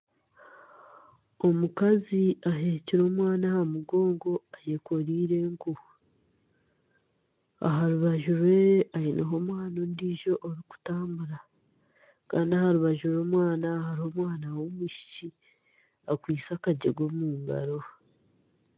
Omukazi aheekire omwana aha mugongo eyekoreire enku aha rubaju rwe aineho omwana ondiijo orikutambura kandi aha rubaju rw'omwana hariho omwana w'omwishiki akwaitse akagyega omu ngaro.